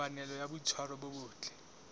kopanelo ya boitshwaro bo botle